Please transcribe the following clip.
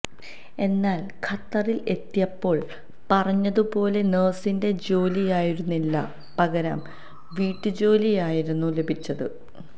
എന്നാല് ഖത്തറില് എത്തിയപ്പോള് പറഞ്ഞതു പോലെ നഴ്സിന്റെ ജോലിയായിരുന്നില്ല പകരം വീട്ടുജോലിയായിരുന്നു ലഭിച്ചത്